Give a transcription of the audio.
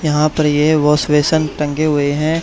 यहां पर ये वाश वेसन टंगे हुए हैं।